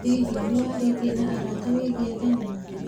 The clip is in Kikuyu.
Hihi, nĩ warĩtie na arata wĩgie thenema?